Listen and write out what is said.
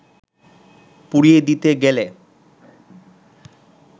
পুড়িয়ে দিতে গেলে